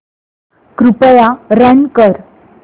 कृपया रन कर